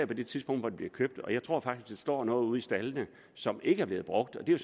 det tidspunkt hvor det bliver købt og jeg tror faktisk der står noget ude i staldene som ikke er blevet brugt og det er